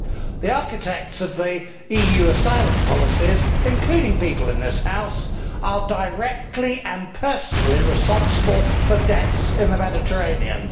The architects of the EU asylum policies, including people in this House, are directly and personally responsible for deaths in the Mediterranean.